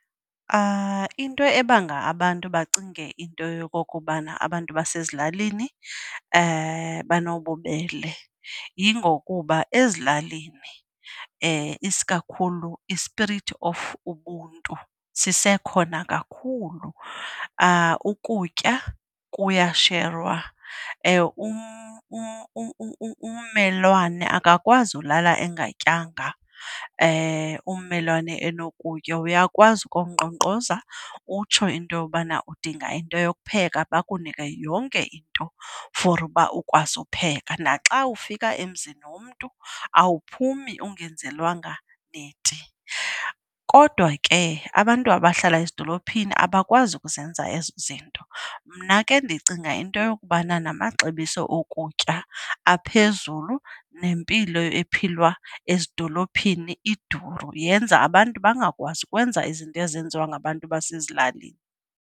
Into ebanga abantu bacinge into yokokubana abantu basezilalini banobubele yingokuba ezilalini isikakhulu i-spirit of ubuntu sisekhona kakhulu. Ukutya kuyasherwa, ummelwane akakwazi ulala engatyanga ummelwane enokutya. Uyakwazi ukuyonkqonkqoza utsho into yobana udinga into yopheka bakunike yonke into for uba ukwazi upheka, naxa ufika emzini womntu awaphumi ungenzelwanga neti. Kodwa ke abantu abahlala ezidolophini abakwazi ukuzenza ezo zinto. Mna ke ndicinga into yokubana namaxabiso okutya aphezulu nempilo ephilwa ezidolophini iduru, yenza abantu bangakwazi ukwenza izinto ezenziwa ngabantu basezilalini.